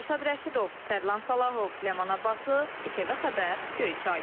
Rəşad Rəşidov, Tərlan Salahov, Ləman Abbaslı, İTV Xəbər, Göyçay.